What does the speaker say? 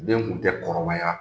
Den tun tɛ kɔrɔbaya